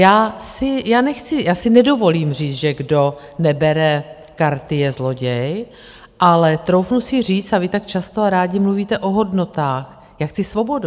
Já si nedovolím říct, že kdo nebere karty, je zloděj, ale troufnu si říct - a vy tak často a rádi mluvíte o hodnotách - já chci svobodu.